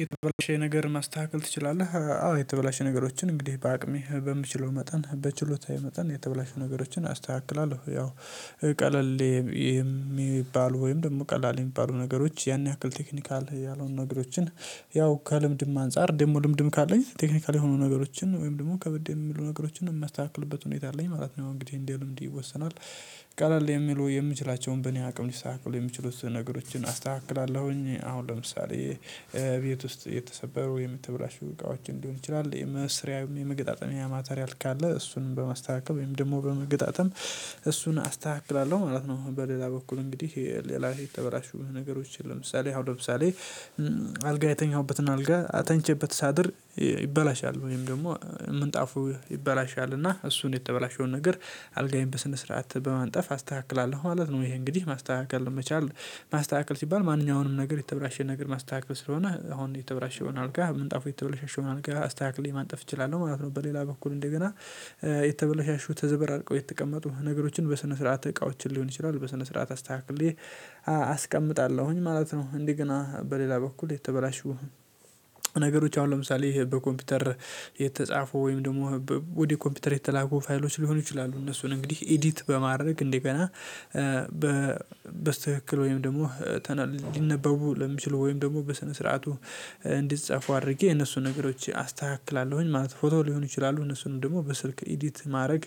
የተበላሸ ነገር ማስተካከል ትችላለህ? አዎ የተበላሸ ነገሮችን እንግዲህ በአቅሜ በምችለው መጠን በችሎታዬ መጠን የተበላሹ ነገሮችን አስተካክላለሁ። ያው ቀለል የሚባሉ ወይም ደግሞ ቀላል የሚባሉ ነገሮች ያን ያክል ቴክኒካል ያልሆኑ ነገሮችን ያው ከልምድም አንፃር ደግሞ ልምድም ካለኝ ቴክኒካል ሆኖ ነገሮችን ወይም ደግሞ ከበድ የሚሉ ነገሮችን የማስተካክልበት ሁኔታ አለኝ ማለት ነው እንግዲህ እንደልምድ ይወሰናል። ቀለል የሚሉ የምችላቸውን በእኔ አቅም ሊስተካክሉ የሚችሉትን ነገሮችን አስተካክላለሁኝ አሁን ለምሳሌ ቤት ውስጥ የተሰበሩ የምተበላሹ እቃዎችን ሊሆን ይችላል የመስሪያ የመገጣጠሚያ ማቴሪያል ካለ እሱንም በማስተካከል ወይም ደግሞ በመገጣጠም እሱን አስተካክላለሁ ማለት ነው። በሌላ በኩል እንግዲህ ሌላ ቤት ተበላሹ ነገሮችን ለምሳሌ አሁን ለምሳሌ አልጋ የተኛሁበትን አልጋ ተኝቼበት ሳድር ይበላሻል ወይም ደግሞ ምንጣፉ ይበላሻልና እሱን የተበላሸውን ነገር አልጋዬን በስነ ስርዓት በማንጠፍ አስተካክላለሁ ማለት ነው። ይሄ እንግዲህ ማስተካከል ለመቻል ማስተካከል ሲባል ማንኛውንም ነገር የተብራሸ ነገር ማስተካከል ስለሆነ አሁን የተበላሸዉን አልጋ ምንጣፉ የተበለሻሸውን አልጋ አስተካክዬ ማንጠፍ እችላለሁ ማለት ነው። በሌላ በኩል እንደገና የተበለሻሹ ተዘበራርቀው የተቀመጡ ነገሮችን በስነ ስርዓት እቃዎችን ሊሆን ይችላል በስነ ስርዓት አስተካክዬ አስቀምጣለሁኝ ማለት ነው። እንደገና በሌላ በኩል የተበላሹ ነገሮች አሁን ለምሳሌ በኮምፒውተር የተጻፉ ወይም ደግሞ ወደ ኮምፒውተር የተላኩ ፋይሎች ሊሆኑ ይችላሉ እነሱን እንግዲህ ኤዲት በማድረግ እንደገና በስትክክል ወይም ደግሞ ተነ ሊነበቡ ለሚችሉ ወይም ደግሞ በሰነ ስርዓቱ እንዲጻፉ አድርጌ የነሱን ነገሮች አስተካክላለሁኝ። ማለት ፎቶ ሊሆን ይችላሉ እነሱንም ደግሞ በስልክ ኤዲት ማድረግ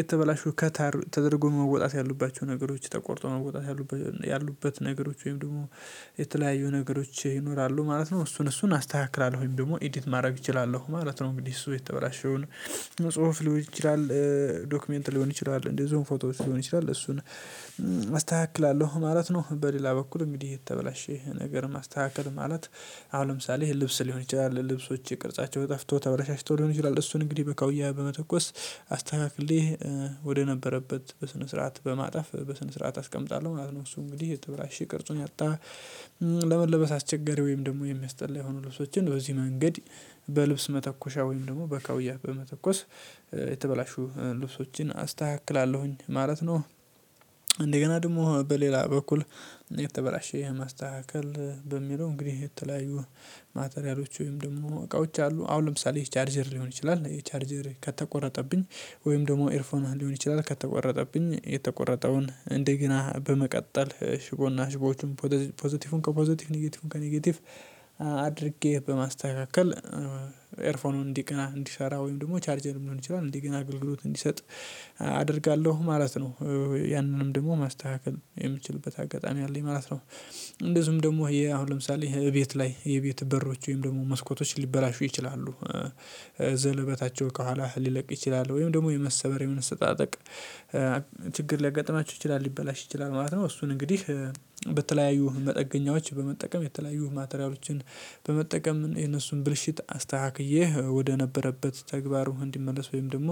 የተበላሹ ከት ተደርጎ መወጣት ያሉባቸው ነገሮች ተቆርጠው መወጣት ያሉበት ነገሮች ወይም ደግሞ የተለያዩ ነገሮች ይኖራሉ ማለት ነው እሱን እሱን አስተካክላለሁኝ ደግሞ ኤዲት ማድረግ እችላለሁ ማለት ነው። እንግዲህ እሱ የተበላሸውን መጽሐፍ ሊሆን ይችላል ዶክመንት ሊሆን ይችላል እንደዚሁም ፎቶ ሊሆን ይችላል እሱን አስተካክላለሁ ማለት ነው። በሌላ በኩል እንግዲህ የተበላሸ ነገር ማስተካከል ማለት አሁን ለምሳሌ ይሄን ልብስ ሊሆን ይችላል ልብሶች የቅርጻቸው ጠፍቶ ተበላሽቶ ሊሆን ይችላል እሱን እንግዲህ በካውያ በመተኮስ አስተካክዬ ወደ ነበረበት በስነ ስርዓት በማጣፍ በስነ ስርዓት አስቀምጣለሁ ማለት ነው። እሱ እንግዲህ የተበላሸ ይቅርጹን ያጣ ለመለበስ አስቸገሪ ወይም ደግሞ የሚያስጠላ የሆኑ ልብሶችን በዚህ መንገድ በልብስ መተኮሻ ወይም ደግሞ በካውያ በመተኮስ የተበላሹ ልብሶችን አስተካክላለሁኝ ማለት ነው። እንደገና ደግሞ በሌላ በኩል እኔ ተበላሸ ማስተካከል በሚለው እንግዲህ የተለያዩ ማቴሪያሎች ወይም ደግሞ እቃዎች አሉ አሁን ለምሳሌ ቻርጀር ሊሆን ይችላል የቻርጀር ከተቆረጠብኝ ወይም ደግሞ ኤርፎን ሊሆን ይችላል ከተቆረጠብኝ የተቆረጠውን እንደገና በመቀጠል ሽቦና ሽቦዎችን ፖዘቲቭን ከፖዘቲቭ ኔጌቲቭን ከኔጌቲቭ አድርጌ በማስተካከል ኤርፎኑን እንዲገና እንዲሰራ ወይም ደግሞ ቻርጀር ሊሆንም ይችላል እንዲገና ግልግሎት እንዲሰጥ አደርጋለሁ ማለት ነው ያንንም ደግሞ ማስተካከል የምችልበት አጋጣሚ አለኝ ማለት ነው። እንደዚሁም ደግሞ ይሄ አሁን ለምሳሌ ቤት ላይ የቤት በሮች ወይም ደግሞ መስኮቶች ሊበላሹ ይችላሉ ዘለበታቸው ከኋላ ሊለቅ ይችላል ወይም ደግሞ የመሰበር የመሰነጣጠቅ ችግር ሊይጋጥማችሁ ይችላል ሊበላሽ ይችላል ማለት ነው እሱን እንግዲህ በተለያዩ መጠገኛዎች በመጠቀም የተለያዩ ማቴሪያሎችን በመጠቀም የነሱን ብልሽት አስተካክዬ ወደነበረበት ተግባሩ እንዲመለስ ወይም ደግሞ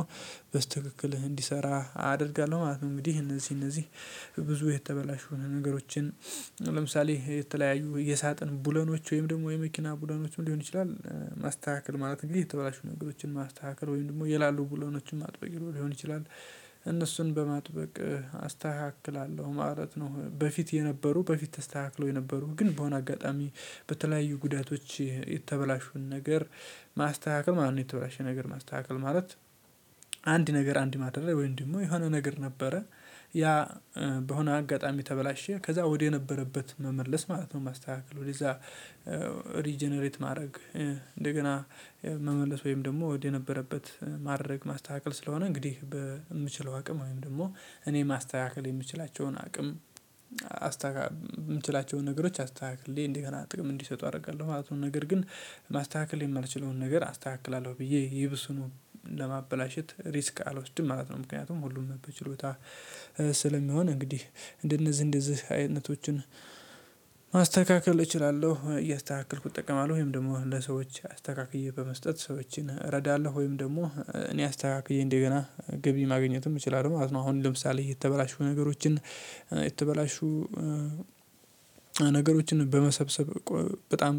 በስትክክህ እንዲሰራ አደርጋለሁ ማለት ነው። እንግዲህ እነዚህ እነዚህ ብዙ የተበላሹ የሆኑ ነገሮችን ለምሳሌ የተለያዩ የሳጥን ብሎኖች ወይም ደግሞ የመኪና ብሎኖችም ሊሆን ይችላል ማስተካከል ማለት እንግዲህ የተበላሹ ነገሮችን ማስተካከል ወይም ደግሞ የላሉ ብሎኖችን ማጥበቅ ሊሆን ይችላል እነሱን በማጥበቅ አስተካክላለሁ ማለት ነው። በፊት የነበሩ በፊት ተስተካክሎ የነበሩ ግን በሆነ አጋጣሚ በተለያዩ ጉዳቶች የተበላሹን ነገር ማስተካከል ማለት የተበላሸ ነገር ማስተካከል ማለት አንድ ነገር አንድ ማድረግ ወይም ደግሞ የሆነ ነገር ነበረ ያ በሆነ አጋጣሚ ተበላሸ ከዛ ወደ የነበረበት መመለስ ማለት ነው ማስተካከል ወደዛ ሪጀነሬት ማድረግ እንደገና መመለስ ወይም ደግሞ ወደ የነበረበት ማድረግ ማስተካከል ስለሆነ እንግዲህ በምችለው አቅም ወይም ደግሞ እኔ ማስተካከል የምችላቸውን አቅም የምችላቸውን ነገሮች አስተካክዬ እንደገና ጥቅም እንዲሰጡ አደርጋለሁ ማለት ነው። ነገር ግን ማስተካከል የማልችለውን ነገር አስተካክላለሁ ብዬ ይብሱኑ ሪስክ አልወስድም ማለት ነው ምክንያቱም ሁሉም በችሎታ ስለሚሆን እንግዲህ እንደነዚህ እንደዚህ አይነቶችን ማስተካከል እችላለሁ እያስተካክልኩ እጠቀማለሁ ወይም ደግሞ ለሰዎች አስተካክዬ በመስጠት ሰዎችን እረዳለሁ ወይም ደግሞ እኔ አስተካክዬ እንደገና ግቢ ማግኘትም እችላለሁ ማለት ነው። አሁን ለምሳሌ የተበላሹ ነገሮችን የተበላሹ ነገሮችን በመሰብሰብ በጣም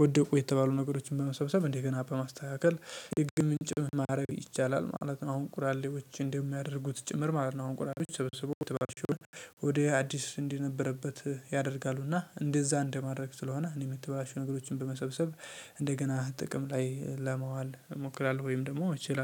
ወደቁ የተባሉ ነገሮችን በመሰብሰብ እንደገና በማስተካከል የገቢ ምንጭ ማድረግ ይቻላል ማለት ነው። አሁን ቁራሌዎች እንደሚያደርጉት ጭምር ማለት ነው አሁን ቁራሌዎች ሰብስቦ የተበላሹ ወደ አዲስ እንደነበረበት ያደርጋሉና እንደዛ እንደማድረግ ስለሆነ እኔም የምትበላሹ ነገሮችን በመሰብሰብ እንደገና ጥቅም ላይ ለማዋል እሞክራለሁ ወይም ደግሞ እችላለሁ